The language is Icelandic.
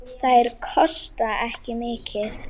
Þær kosta ekki mikið.